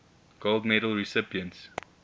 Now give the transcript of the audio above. gold medal recipients